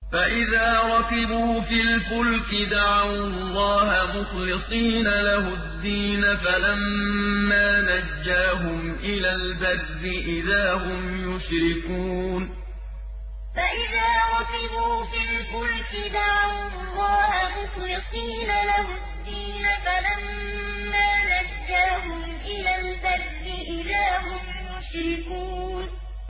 فَإِذَا رَكِبُوا فِي الْفُلْكِ دَعَوُا اللَّهَ مُخْلِصِينَ لَهُ الدِّينَ فَلَمَّا نَجَّاهُمْ إِلَى الْبَرِّ إِذَا هُمْ يُشْرِكُونَ فَإِذَا رَكِبُوا فِي الْفُلْكِ دَعَوُا اللَّهَ مُخْلِصِينَ لَهُ الدِّينَ فَلَمَّا نَجَّاهُمْ إِلَى الْبَرِّ إِذَا هُمْ يُشْرِكُونَ